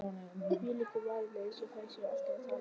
Þvílíkar varir,- eins og þær séu alltaf að tala.